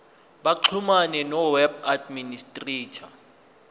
baxhumane noweb administrator